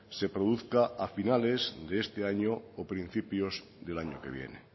se produzca a finales de este año o principios del año que viene